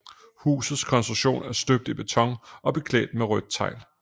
Husets konstruktion er støbt i beton og beklædt med rødt tegl